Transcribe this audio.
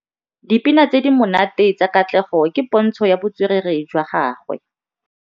Dipina tse di monate tsa Katlego ke pôntshô ya botswerere jwa gagwe.